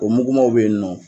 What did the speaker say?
O mukumanw be yen nɔ.